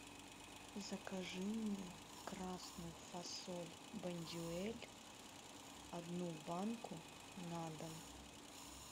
закажи мне красную фасоль бондюэль одну банку на дом